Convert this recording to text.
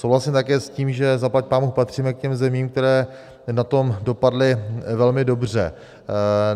Souhlasím také s tím, že zaplať pánbůh patříme k těm zemím, které na tom dopadly velmi dobře.